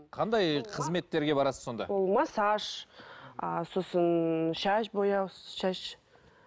қандай қызметтерге барасыз сонда ол массаж ы сосын шаш бояу шаш